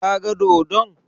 Ka ga dodon?